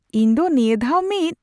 ᱤᱧ ᱫᱚ ᱱᱤᱭᱟᱹ ᱫᱷᱟᱣ ᱢᱤᱫ